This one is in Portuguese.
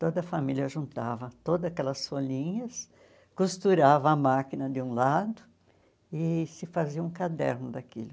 Toda a família juntava todas aquelas folhinhas, costurava a máquina de um lado e se fazia um caderno daquilo.